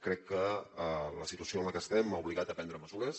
crec que la situació en la que estem ha obligat a prendre mesures